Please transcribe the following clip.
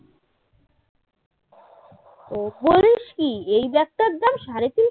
ও বলিস কি এই ব্যাগটার দাম সাড়ে তিনশো